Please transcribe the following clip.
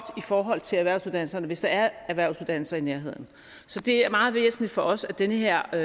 i forhold til erhvervsuddannelserne hvis der er erhvervsuddannelser i nærheden så det er meget væsentligt for os at den her